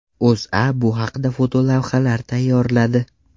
O‘zA bu haqda fotolavhalar tayyorladi .